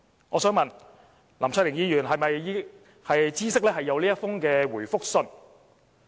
我想問，林卓廷議員是否知悉有這樣一封覆函呢？